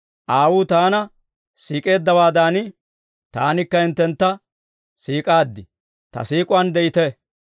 Aawuu Taana siik'eeddawaadan, Taanikka hinttentta siik'aaddi; Ta siik'uwaan de'ite.